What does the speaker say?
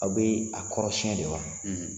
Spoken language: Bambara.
Aw bɛ a kɔɔrisi yɛlɛma.